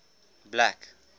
black